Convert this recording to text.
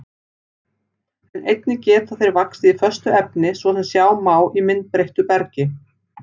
En einnig geta þeir vaxið í föstu efni, svo sem sjá má í myndbreyttu bergi.